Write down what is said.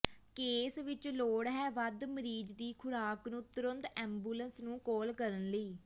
case ਵਿੱਚ ਲੋੜ ਹੈ ਵੱਧ ਮਰੀਜ਼ ਦੀ ਖੁਰਾਕ ਨੂੰ ਤੁਰੰਤ ਐਬੂਲਸ ਨੂੰ ਕਾਲ ਕਰਨ ਲਈ